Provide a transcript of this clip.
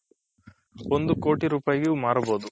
ಒಂದು ಕೋಟಿ ರುಪೈಗು ಮಾರ್ಬೌದು